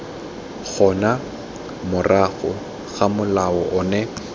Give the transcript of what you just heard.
gona morago ga molao ono